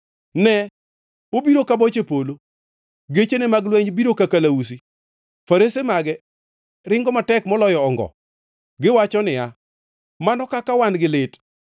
Ne! Obiro ka boche polo, gechene mag lweny biro ka kalausi, farese mage ringo matek moloyo ongo. Kagiwacho niya, mano kaka wan gi lit!